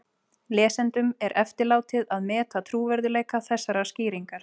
Lesendum er eftirlátið að meta trúverðugleika þessarar skýringar.